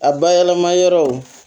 A bayɛlɛma yɔrɔw